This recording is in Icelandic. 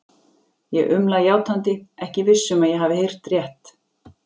Ég umla játandi, ekki viss um að ég hafi heyrt rétt.